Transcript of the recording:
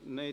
Nein